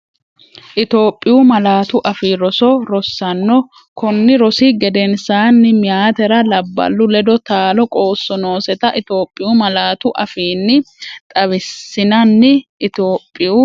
Itophiyu Malaatu Afii Roso Rosaano, konni rosi gedensaanni Meyaatera labballu ledo taalo qoosso nooseta Itophiyu malaatu afiinni xaw- issinanni Itophiyu.